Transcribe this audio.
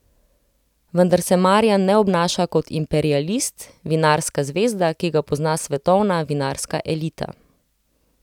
Vendar se Marjan ne obnaša kot imperialist, vinarska zvezda, ki ga pozna svetovna vinarska elita.